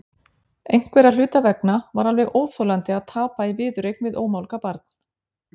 Einhverra hluta vegna var alveg óþolandi að tapa í viðureign við ómálga barn.